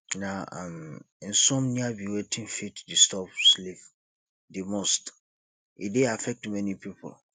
na um insomnia be wetin fit disturb sleep di most e dey affect many people